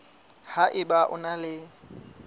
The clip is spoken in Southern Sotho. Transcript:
ha eba o na le